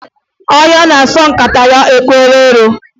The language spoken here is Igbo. Ọhịa na-asọ nkataya epukwala ero.